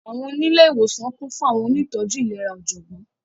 Àwọńilẹ̀ iwosan kún fún Àwọńoníìtọjú ilẹ̀rà ojọ́gbón.